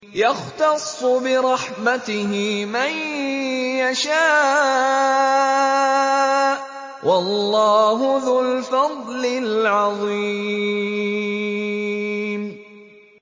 يَخْتَصُّ بِرَحْمَتِهِ مَن يَشَاءُ ۗ وَاللَّهُ ذُو الْفَضْلِ الْعَظِيمِ